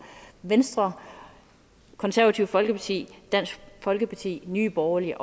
venstre konservative folkeparti dansk folkeparti nye borgerlige